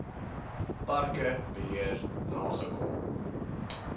parke beheer nagekom